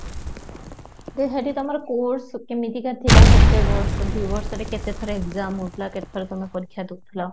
ତ ତମର course କେମିତିକା ଥିଲା କେତେ ବର୍ଷ ଦି ବର୍ଷରେ କେତେ ଥର EXAM ହୌ ଥିଲା କେତେ ଥର ତମେ ପରିକ୍ଷା ଦଉଥିଲ?